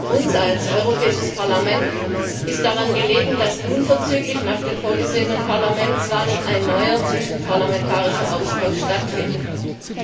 Uns als Europäischem Parlament ist daran gelegen, dass unverzüglich nach den vorgesehenen Parlamentswahlen ein neuer zwischenparlamentarischer Austausch stattfinden wird.